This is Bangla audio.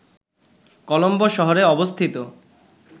কলম্বো শহরে অবস্থিত